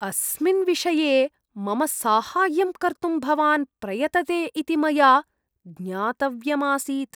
अस्मिन् विषये मम साहाय्यं कर्तुं भवान् प्रयतते इति मया ज्ञातव्यमासीत्।